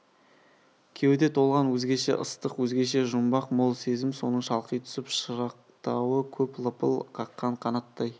кеуде толған өзгеше ыстық өзгеше жұмбақ мол сезім соның шалқи түсіп шарықтауы көп лыпыл қаққан қанаттай